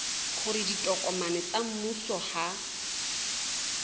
hore ditokomane tsa mmuso ha